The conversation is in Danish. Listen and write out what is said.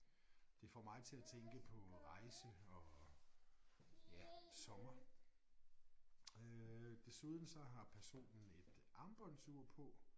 Det får mig til at tænke på rejse og ja sommer øh desuden så har personen et armbåndsur på